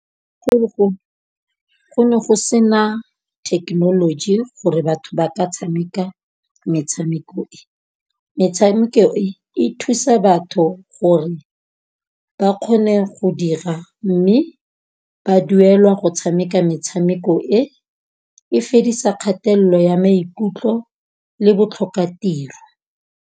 Go ne go sena thekenoloji gore batho ba ka tshameka metshameko e. Metshameko e thusa batho gore ba kgone go dira, mme ba duelwa go tshameka metshameko e, e fedisa kgatello ya maikutlo le botlhokatiro.